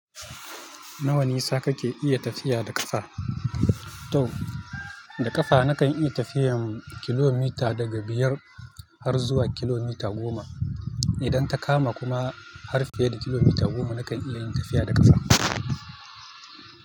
Nawa nisa kake iya tafiya da ƙafa? To da ƙafa nakan iya tafiyan kilomita daga biyar har zuwa kilomita goma. Idan ta kama kuma, har fiye da kilomita goma nakan iya yin tafiya da ƙafa.